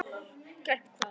Grænt hvað?